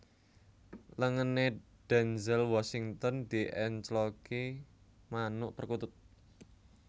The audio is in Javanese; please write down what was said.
Lengene Denzel Washington diencloki manuk perkutut